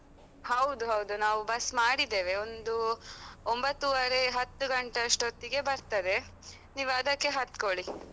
ಹೌದು ಹೌದು, ನಾವು bus ಮಾಡಿದ್ದೇವೆ. ಒಂದು ಒಂಭತ್ತೂವರೆ ಹತ್ತು ಗಂಟೆ ಅಷ್ಟೋತ್ತಿಗೆ ಬರ್ತದೆ, ನೀವು ಅದಕ್ಕೆ ಹತ್ಕೊಳಿ.